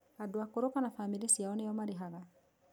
andũ akũrũ kana famĩlĩ ciao nĩo marĩhaga